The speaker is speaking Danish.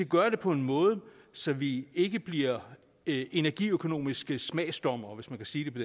gøre det på en måde så vi ikke bliver energiøkonomiske smagsdommere hvis man kan sige det på